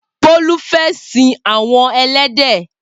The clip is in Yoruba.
Bolu fè sin awọn ẹlẹdẹ